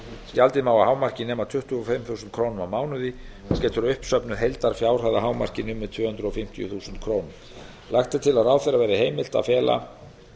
gjaldið má að hámarki nema tuttugu og fimm þúsund krónur á mánuði getur uppsöfnuð heildarfjárhæð að hámarki numið tvö hundruð fimmtíu þúsund krónur lagt er til að ráðherra verði heimilt að fela